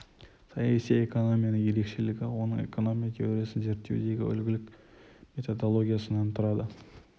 саяси экономиясының ерекшелігі оның экономия теориясын зерттеудегі үлгілік методологиясынан тұрады